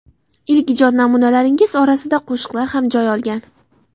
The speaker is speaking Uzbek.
Ilk ijod namunalaringiz orasida qo‘shiqlar ham joy olgan.